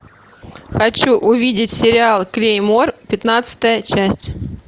хочу увидеть сериал клеймор пятнадцатая часть